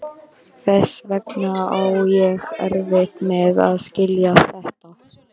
Þess vegna á ég erfitt með að skilja þetta.